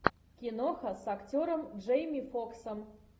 киноха с актером джейми фоксом